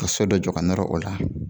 ka sodɔ jɔ ka nɔrɔ o la